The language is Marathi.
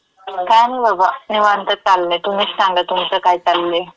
काय नई बाबा, निवांत चाललयं. तुम्हीच सांगा, तुमचं काय चाललयं?